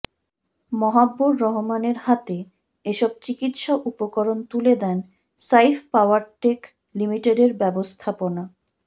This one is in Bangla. মাহাবুবর রহমানের হাতে এসব চিকিৎসা উপকরণ তুলে দেন সাইফ পাওয়ারটেক লিমিটেডের ব্যবস্থাপনা